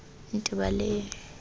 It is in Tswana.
ntebaleng